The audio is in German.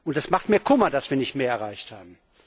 Es macht mir Kummer, dass wir nicht mehr erreicht haben.